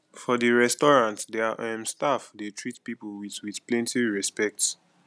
for di restaurant their um staff dey treat pipo with with plenty respect